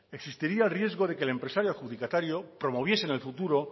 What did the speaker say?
existiría el riesgo de que el empresario adjudicatario promoviese en el futuro